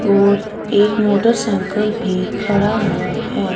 और एक मोटरसाइकिल भी खड़ा हुआ है।